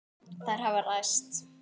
Þær hafa ræst.